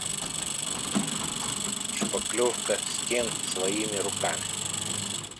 шпаклевка стен своими руками